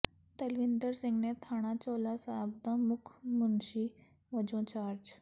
ਤਲਵਿੰਦਰ ਸਿੰਘ ਨੇ ਥਾਣਾ ਚੋਹਲਾ ਸਾਹਿਬ ਦਾ ਮੁਖ ਮੁਨਸ਼ੀ ਵਜੋਂ ਚਾਰਜ